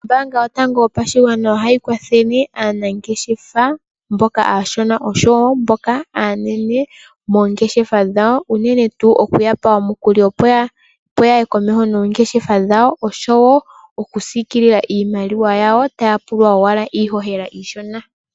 Ombaanga yaVenduka yopashigwana ohayi kwathele aanangeshefa mboka aashona oshowo mboka aanene moongeshefa dhawo, unene tuu okuya pa omukuli opo ya ye komeho noongeshefa dhawo, oshowo oku siikilila iimaliwa yawo taya pulwa owala iihohela iishona.